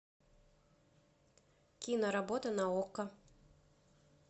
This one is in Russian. киноработа на окко